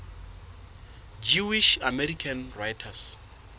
jewish american writers